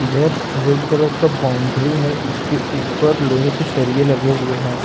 इधर red colour का boundary है उसके ऊपर लोहे के सरिये लगे हुए हैं।